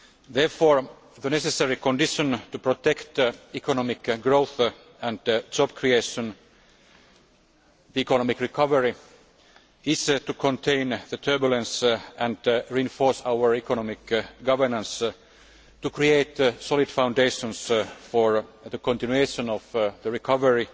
Therefore, the necessary condition to protect economic growth and job creation economic recovery is to contain the turbulence and reinforce our economic governance, to create solid foundations for the continuation of the recovery,